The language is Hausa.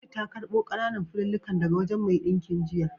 Lulu ta karɓo ƙananan fulallikan daga wajen mai ɗinkin jiya.